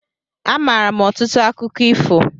A maara m ọtụtụ akụkọ ifo